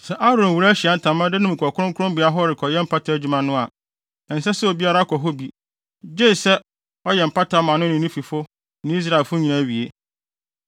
Sɛ Aaron wura Ahyiae Ntamadan no mu kɔ kronkronbea hɔ rekɔyɛ mpata adwuma no a, ɛnsɛ sɛ obiara kɔ hɔ bi, gye sɛ ɔyɛ mpata no ma ne ho ne ne fifo ne Israelfo nyinaa wie.